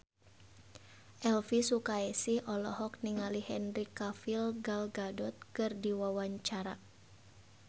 Elvi Sukaesih olohok ningali Henry Cavill Gal Gadot keur diwawancara